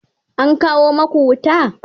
an kawo maku wuta?